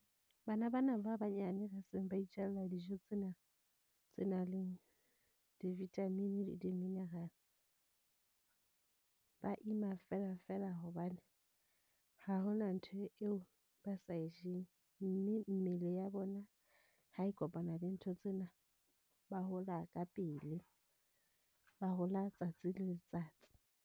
Bana bana ba banyane ba seng ba itjhalla dijo tsena tse nang le di-vitamin-i le di-mineral. Ba ima feela feela hobane ha hona ntho eo ba sa e jeng. Mme mmele ya bona ha e kopana le ntho tsena. Ba hola ka pele ba hola tsatsi le letsatsi.